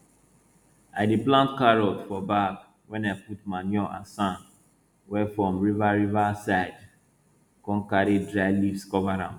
i dey plant carrot for bag wey i put manure and sand wey from river river side come carry dry leaves cover am